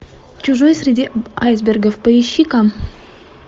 чужой среди айсбергов поищи ка